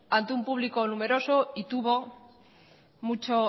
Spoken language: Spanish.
ante un público numeroso y tuvo mucho